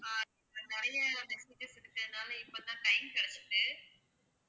ஆஹ் நிறைய messages இருக்கறதுனால இப்ப தான் time கிடைச்சுச்சு